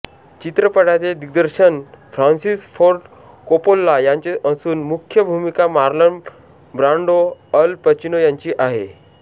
चित्रपटाचे दिग्दर्शन Francis Ford Coppola यांचे असून मुख्य भूमिका मार्लन ब्रान्डो अल पचिनो यांची आहे